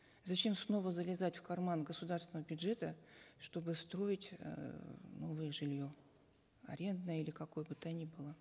зачем снова залезать в карман государственного бюджета чтобы строить э новое жилье арендное или какое бы то ни было